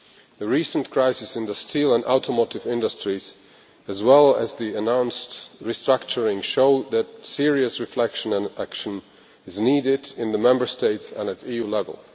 The recent crisis in the steel and automotive industries, as well as the announced restructuring, show that serious reflection and action is needed in the Member States and at EU level.